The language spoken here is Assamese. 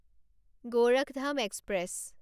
গৰাখধাম এক্সপ্ৰেছ